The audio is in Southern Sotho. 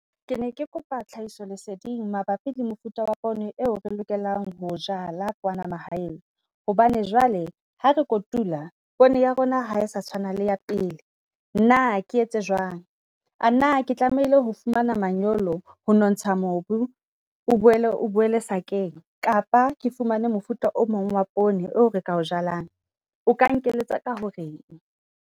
Ke ne ke kopa tlhahiso leseding mabapi le mofuta wa poone eo re lokelang ho jala kwana mahaeng. Hobane jwale ha re kotula poone ya rona ha e sa tshwana le ya pele, na ke etse jwang? A na ke tlamehile ho fumana manyolo ho nontsha mobu, o boele o boele sakeng? Kapa ke fumane mofuta o mong wa poone eo re ka o jalang. O ka nkeletsa ka horeng?